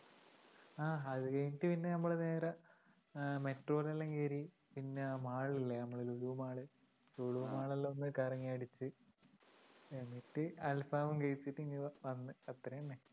ആ അത് കഴിഞ്ഞിട്ട് പിന്നെ നമ്മള് നേരെ അഹ് metro ലെല്ലാം കറി പിന്നെ mall ല്ലേ? നമ്മടെ ലുലു mall ഉ ലുലു mall ലൊന്ന് കറങ്ങിയടിച്ചു അൽഫാമും കഴിച്ചിട്ടിങ്ങനെ വന്നു അത്ര തന്നെ